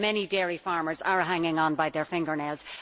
Many dairy farmers are hanging on by their fingernails.